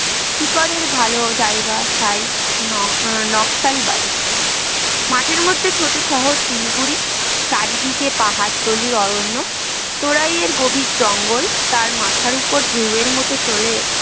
শিকারের ভালো জায়গা, তাই নকসালবাড়ি মাঠের মধ্যে ছোট্ট শহর শিলিগুড়ি চারিদিকে পাহাড়তলীর অরণ্য তারাইয়ের গভীর জঙ্গল তার মাথার ওপর ঢেউয়ের মতো চলে